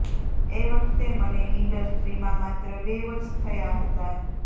એ વખતે મને ઇન્ડસ્ટ્રીમાં માત્ર બે વર્ષ થયાં હતાં